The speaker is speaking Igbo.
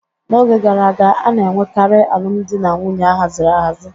N'oge gara aga, a na-enwekarị alụmdi na nwunye a haziri ahazi.